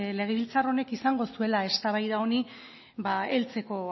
legebiltzar honek izango zuela eztabaida honi heltzeko